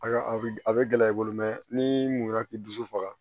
A ka a bɛ gɛlɛya i bolo n'i mula k'i dusu faga